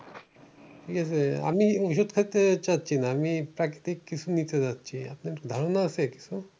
ঠিকাছে আমি ওষুধ খেতে চাচ্ছি না আমি প্রাকৃতিক কিছু নিতে চাচ্ছি আপনার কি ধারণা আছে কিছু?